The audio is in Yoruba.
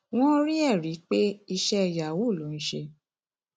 wọn rí ẹrí pé iṣẹ yahoo ló ń ṣe